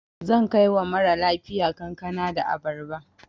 Zan kai wa mara lafiya kankana da abarba.